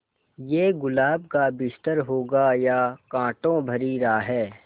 ये गुलाब का बिस्तर होगा या कांटों भरी राह